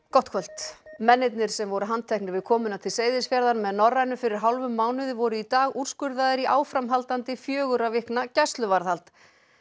gott kvöld mennirnir sem voru handteknir við komuna til Seyðisfjarðar með Norrænu fyrir hálfum mánuði voru í dag úrskurðaðir í áframhaldandi fjögurra vikna gæsluvarðhald